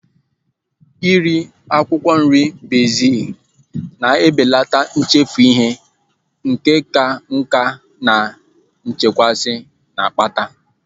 Iri akwụkwọ nri bezil na-ebelata nchefu ihe nke ịka nká na nchekasị na-akpata